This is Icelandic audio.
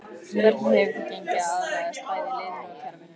Hvernig hefur þér gengið að aðlagast bæði liðinu og kerfinu?